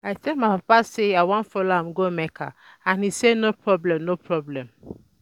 I tell my papa say I wan follow am go Mecca and he say no problem no problem